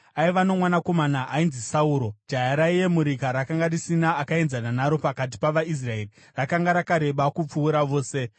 Aiva nomwanakomana ainzi Sauro, jaya raiyemurika rakanga risina akaenzana naro pakati pavaIsraeri, rakanga rakareba kupfuura vose.